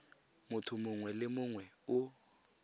motho mongwe le mongwe o